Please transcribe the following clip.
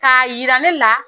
K'a jira ne la